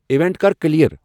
event کَر کیلیر